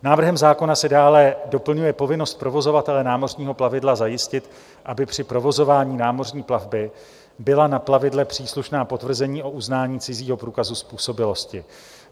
Návrhem zákona se dále doplňuje povinnost provozovatele námořního plavidla zajistit, aby při provozování námořní plavby byla na plavidle příslušná potvrzení o uznání cizího průkazu způsobilosti.